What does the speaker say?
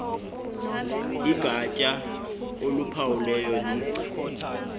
igatya oluphawulayo licha